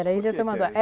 Era Ilha Tamanduá.